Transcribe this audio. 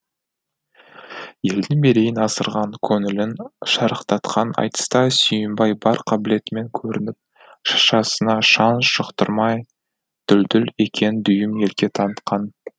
елдің мерейін асырған көңілін шарықтатқан айтыста сүйінбай бар қабілетімен көрініп шашасына шаң жұқтырмай дүлдүл екенін дүйім елге танытқан